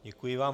Děkuji vám.